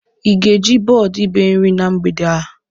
Ị ga-eji bọọdụ iberi na mgbede a?